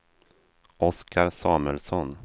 Oskar Samuelsson